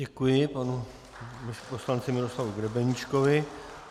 Děkuji panu poslanci Miroslavu Grebeníčkovi.